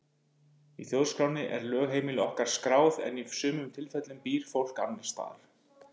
Í þjóðskránni er lögheimili okkar skráð en í sumum tilfellum býr fólk annars staðar.